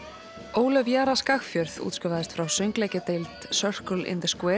Ólöf Jara Skagfjörð útskrifaðist frá Circle in